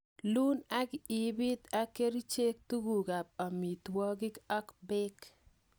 Iun ak ibiit ak kerichek tuguk ab amitwogik ak beek.